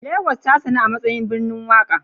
Lagos tasanu amatsayin birnin waƙa